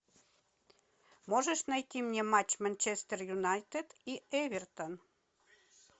можешь найти мне матч манчестер юнайтед и эвертон